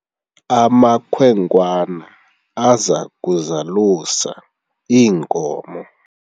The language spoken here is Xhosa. amakhwenkwana aza kuzalusa iinkomo